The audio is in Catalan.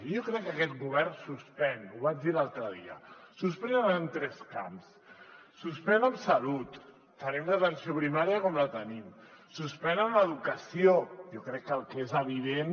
jo crec que aquest govern suspèn ho vaig dir l’altre dia suspèn en tres camps suspèn en salut tenim l’atenció primària com la tenim suspèn en educació jo crec que el que és evident